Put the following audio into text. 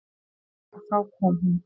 Og þá kom hún.